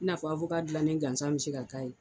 i n'a fɔ awoka dilannen gansan bɛ se ka k'a ye